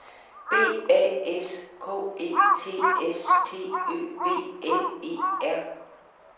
B A S K E T S T Ø V L E R